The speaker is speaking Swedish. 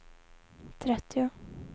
trettio